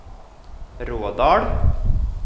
Rådal